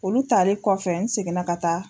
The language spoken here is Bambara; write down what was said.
Olu tari kɔfɛ n seginna ka taa.